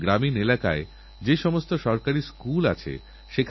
আমার বিশ্বাস আব্দুল কালামজীর প্রতিসত্যিকারের শ্রদ্ধাঞ্জলি হল গবেষণা ও আবিষ্কার